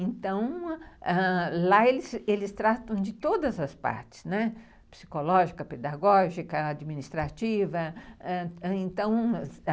Então, ãh... lá eles tratam de todas as partes, né, psicológica, pedagógica, administrativa,